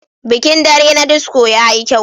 Bikin dare na disco yayi kyau.